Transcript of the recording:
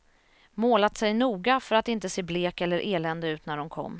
Målat sig noga för att inte se blek eller eländig ut när de kom.